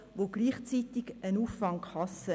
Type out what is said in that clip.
Letztere ist gleichzeitig eine Auffangkasse.